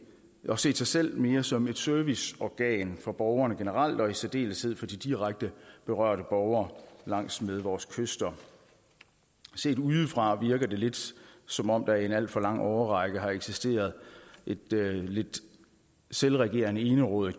og set sig selv mere som et serviceorgan for borgerne generelt og i særdeleshed for de direkte berørte borgere langs vores kyster set udefra virker det lidt som om der i en alt for lang årrække har eksisteret et lidt selvregerende enerådigt